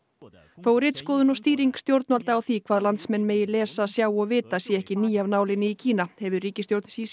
þó ritskoðun og stýring stjórnvalda á því hvað landsmenn megi lesa sjá og vita sé ekki ný af nálinni í Kína hefur ríkisstjórn